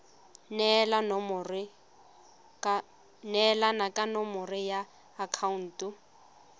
neelana ka nomoro ya akhaonto